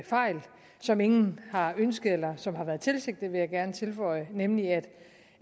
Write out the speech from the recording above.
fejl som ingen har ønsket og som ikke har været tilsigtet vil jeg gerne tilføje nemlig at